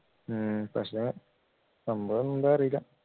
ഉം പക്ഷേ സംഭവം എന്താ അറീല